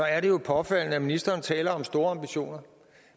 er det jo påfaldende at ministeren taler om store ambitioner